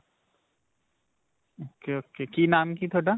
ok. ok. ਕੀ ਨਾਮ ਕੀ ਤੁਹਾਡਾ?